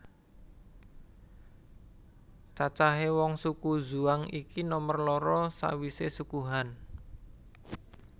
Cacahe wong suku Zhuang iki nomor loro sawise Suku Han